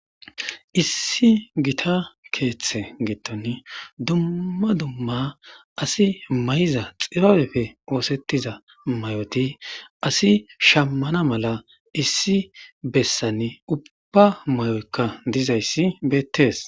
issi gita keeththe gitton dumma dumma asi may7iza xibabefe oosettiza may7oti asi shammana mala issi bessan ubba may7oykka dizayssi beettees